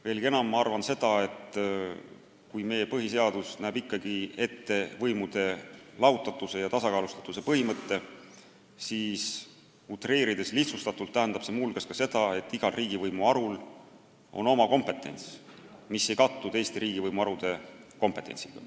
Veelgi enam, ma arvan seda, et kui meie põhiseadus näeb ikkagi ette võimude lahususe ja tasakaalustatuse põhimõtte, siis utreerides, lihtsustatult tähendab see muu hulgas ka seda, et igal riigivõimu harul on oma kompetents, mis ei kattu teiste riigivõimu harude kompetentsiga.